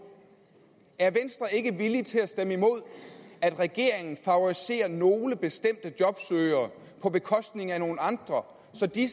er venstre ikke villig til at stemme imod at regeringen favoriserer nogle bestemte jobsøgere på bekostning af nogle andre så de